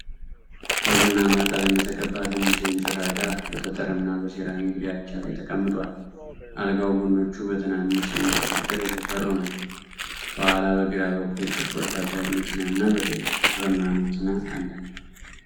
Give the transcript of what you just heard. በቡናማ ቀለም የተቀባ ትንሽ የእንጨት አልጋ በጠጠርና በሴራሚክ ዳርቻ ላይ ተቀምጧል። አልጋው ጎኖቹ በትናንሽ የእንጨት አጥር የተሰሩ ናቸው። ከኋላ በግራ በኩል ጥቁር ከባድ መኪናና በቀኝ በኩል ብርማ መኪና አለ።